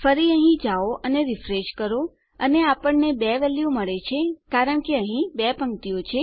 ફરી અહીં જાઓ અને રીફ્રેશ કરો અને આપણને 2 વેલ્યુ મળશે કારણ કે અહીં 2 પક્તિઓ છે